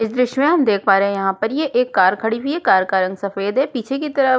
इस दृश्य में हम देख पा रहे हैं यह पर एक ये कार खड़ी हैकार का रंग सफ़ेद है पीछे की तरफ--